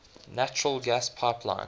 natural gas pipeline